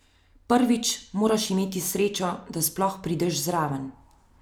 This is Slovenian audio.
Prvič moraš imeti srečo, da sploh prideš zraven.